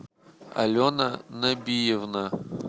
алена набиевна